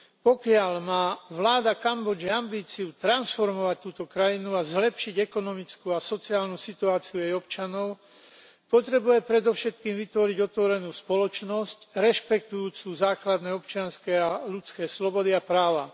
Pokiaľ má vláda Kambodže ambíciu transformovať túto krajinu a zlepšiť ekonomickú a sociálnu situáciu jej občanov, potrebuje predovšetkým vytvoriť otvorenú spoločnosť rešpektujúcu základné občianske a ľudské slobody a práva.